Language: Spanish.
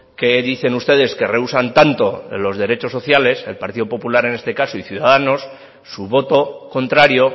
que dicen ustedes que reúsan tanto de los derechos sociales el partido popular en este caso y ciudadanos su voto contrario